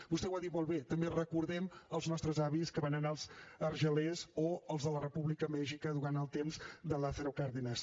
vostè ho ha dit molt bé també recordem els nostres avis que van anar a argelers o els de la república a mèxic durant el temps de lázaro cárdenas